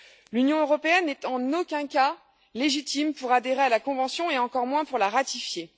L'Union européenne n'est en aucun cas légitime pour adhérer à la convention et encore moins pour la ratifier.